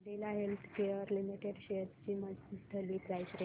Cadila healthcare limited shares ची monthly price range